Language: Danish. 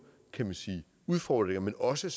udfordringer men også